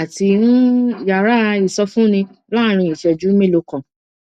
àti um yàrá ìsọfúnni láàárín ìṣẹjú mélòó kan